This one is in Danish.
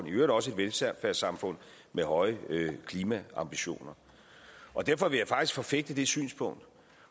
øvrigt også et velfærdssamfund med høje klimaambitioner derfor vil jeg faktisk forfægte det synspunkt